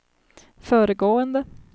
föregående